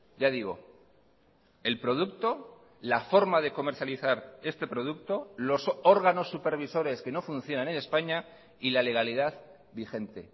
ya digo el producto la forma de comercializar este producto los órganos supervisores que no funcionan en españa y la legalidad vigente